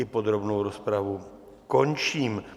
I podrobnou rozpravu končím.